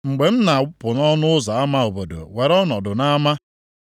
“Mgbe m na-apụ nʼọnụ ụzọ ama obodo were ọnọdụ m nʼama.